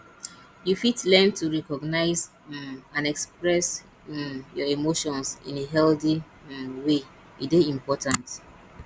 you fit learn to recognize um and express um your emotions in a healthy um way e dey important